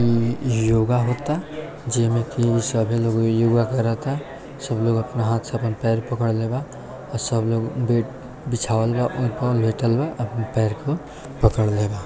ये योगा होता जेमे सभे लोग योगा कराता सभे लोग हाँथ से अपन पैर पकड़ले बा और सब लोग बेड बीछावल बा और लेटल बा और अपन पैर को पकड़ले बा।